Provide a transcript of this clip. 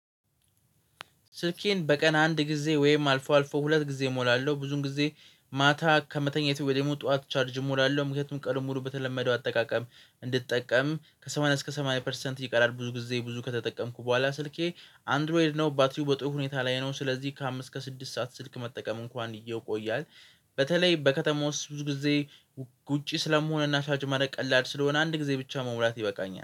ስልኬን በቀን አንድ ጊዜ ወይም አልፎ አልፎ ሁለት ጊዜ እሞላለሁ ብዙን ጊዜ ማታ ከመተኛቴ ወይ ደግሞ ጠዋት ቻርጅ እሞላለሁ ምክንያቱም ቀኑን በተለመደው አጠቃቀም እንድጠቀም ከሰማንያ እስከ ሰማንያ ፐርሰንት ይቀራል ብዙ ጊዜ ብዙ ከተጠቀምኩ በኋላ ስልኬ አንድሮይድ ነው ባትሪው በጥሩ ሁኔታ ላይ ነው ስለዚህ ከአምስት እስከ ስድስት ሰዓት ስልክ መጠቀም እንኳን እይቆያል። በተለይ በከተማው ውስጥ ብዙ ጊዜ ውጪ ስለመሆን ቻርጅ ማድረግ ቀላል ስለሆነ አንድ ጊዜ ብቻ መሙላት ይበቃኛል